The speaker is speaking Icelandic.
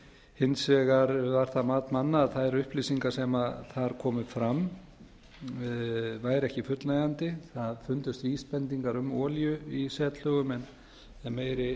hins vegar var það mat manna að þær upplýsingar sem þar komu fram væru ekki fullnægjandi það fundust vísbendingar um olíu í setlögum en meiri